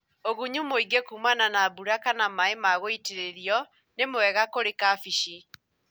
ũgunyu muĩgĩ kumana na mbura kana maĩ ma gũitĩrĩrio nĩmwega kũrĩ kabeci.